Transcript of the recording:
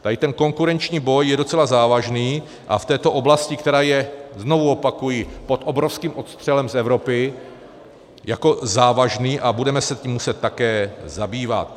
Tady ten konkurenční boj je docela závažný a v této oblasti, která je, znovu opakuji, pod obrovským odstřelem z Evropy jako závažný a budeme se tím muset také zabývat.